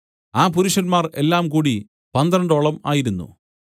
ആ പുരുഷന്മാർ എല്ലാംകൂടി പന്ത്രണ്ടോളം ആയിരുന്നു